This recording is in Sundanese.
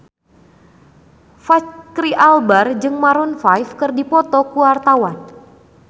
Fachri Albar jeung Maroon 5 keur dipoto ku wartawan